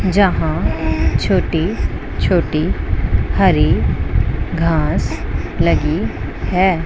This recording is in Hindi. जहां छोटी छोटी हरी घास लगी है।